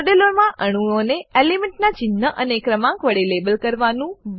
મોડેલમાં અણુઓને એલિમેન્ટ નાં ચિન્હ અને ક્રમાંક વડે લેબલ કરવાનું